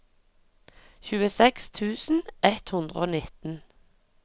tjueseks tusen ett hundre og nitten